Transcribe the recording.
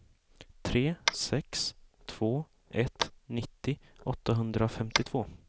tre sex två ett nittio åttahundrafemtiotvå